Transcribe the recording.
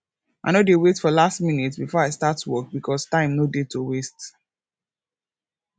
i no dey wait for last minute bifor i start work bikos time no dey to waste